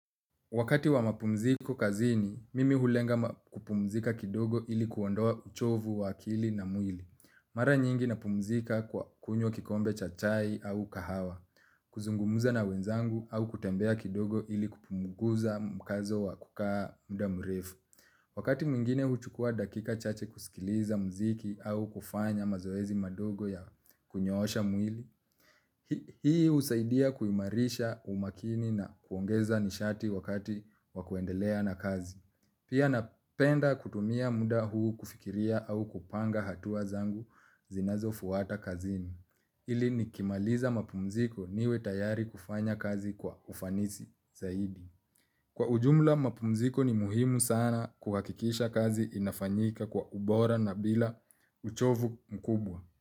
Wakati wa mapumziko kazini, mimi hulenga kupumzika kidogo ili kuondoa uchovu wa akili na mwili. Mara nyingi napumzika kwa kukunywa kikombe cha chai au kahawa, kuzungumza na wenzangu au kutembea kidogo ili kupunguza mkazo wa kukaa muda mrefu. Wakati mwingine huchukua dakika chache kusikiliza mziki au kufanya mazoezi madogo ya kunyoosha mwili, hii husaidia kuimarisha umakini na kuongeza nishati wakati wa kuendelea na kazi. Pia napenda kutumia muda huu kufikiria au kupanga hatua zangu zinazofwata kazini ili nikimaliza mapumziko niwe tayari kufanya kazi kwa ufanisi zaidi. Kwa ujumla mapumziko ni muhimu sana kuhakikisha kazi inafanyika kwa ubora na bila uchovu mkubwa.